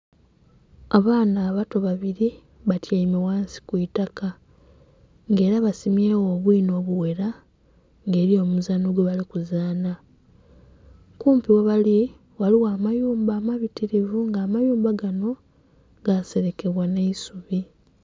Abaana abato babiri batyaime ghansi kwiitaka nga era basimyegho obwina obuwera nga eriyo omuzano gwebalikuzana kumpi webali ghaligho amayumba amabitirivu nga amayumba gano gasirekebwa n'eisubi.